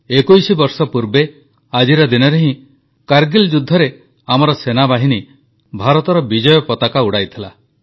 21 ବର୍ଷ ପୂର୍ବେ ଆଜିର ଦିନରେ ହିଁ କାରଗିଲ ଯୁଦ୍ଧରେ ଆମର ସେନାବାହିନୀ ଭାରତର ବିଜୟ ପତାକା ଉଡାଇଥିଲା